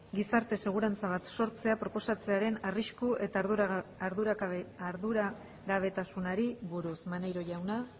gizarte segurantza bat sortzea proposatzearen arrisku eta arduragabetasunari buruz maneiro jauna